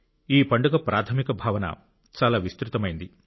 ఈ పండుగ ప్రాథమిక భావన చాలా విస్తృతమైంది